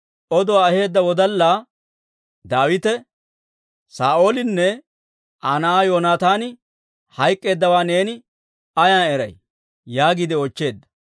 Oduwaa aheedda wodallaa Daawite, «Saa'oolinne Aa na'aa Yoonataani hayk'k'eeddawaa neeni ayaan eray?» yaagiide oochcheedda.